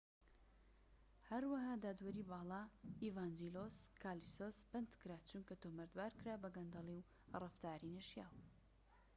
هەروەها دادوەری باڵا ئیڤانجیلۆس کالۆسیس بەندکرا چونکە تۆمەتبارکرا بە گەندەلی و ڕەفتاری نەشیاو